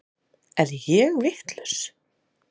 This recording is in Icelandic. Er ég vitlaus!